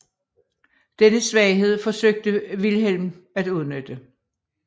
Denne svaghed forsøgte Vilhelm at udnytte